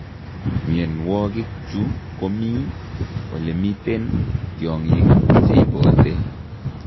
Mionwogik chu komii elemiten tiongik cheibote